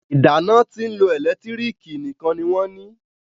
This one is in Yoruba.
ìdáná tín ló ẹlẹ́lẹtiriki nìkàn ní wón ní.